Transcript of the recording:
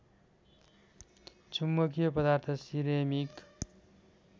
चुम्बकीय पदार्थ सिरेमिक